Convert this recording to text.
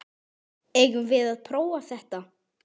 Eigum við að prófa þetta?